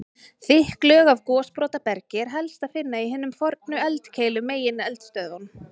Þykk lög af gosbrotabergi er helst að finna í hinum fornu eldkeilum, megineldstöðvunum.